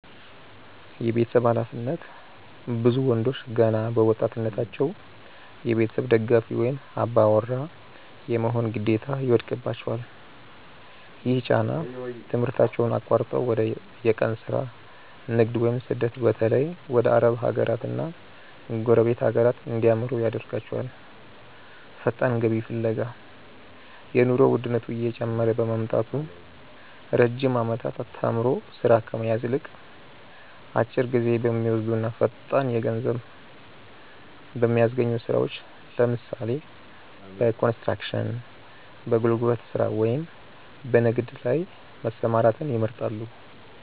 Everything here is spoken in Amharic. የቤተሰብ ኃላፊነት፦ ብዙ ወንዶች ገና በወጣትነታቸው የቤተሰብ ደጋፊ ወይም "አባወራ" የመሆን ግዴታ ይወድቅባቸዋል። ይህ ጫና ትምህርታቸውን አቋርጠው ወደ የቀን ሥራ፣ ንግድ ወይም ስደት (በተለይ ወደ አረብ ሀገራትና ጎረቤት ሀገራት) እንዲያመሩ ያደርጋቸዋል። ፈጣን ገቢ ፍለጋ፦ የኑሮ ውድነቱ እየጨመረ በመምጣቱ፣ ረጅም ዓመታት ተምሮ ሥራ ከመያዝ ይልቅ፣ አጭር ጊዜ በሚወስዱና ፈጣን ገንዘብ በሚያስገኙ ሥራዎች (ለምሳሌ፦ በኮንስትራክሽን፣ በጉልበት ሥራ ወይም በንግድ) ላይ መሰማራትን ይመርጣሉ።